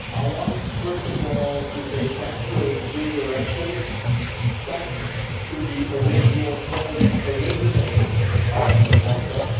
Madam President, I want first of all to say thank you in three directions thanks to the original Polish originators of the concept